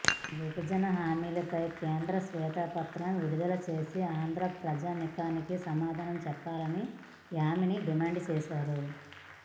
విభజన హామీలపై కేంద్రం శ్వేతపత్రం విడుదల చేసి ఆంధ్ర ప్రజానీకానికి సమాధానం చెప్పాలని యామిని డిమాండ్ చేశారు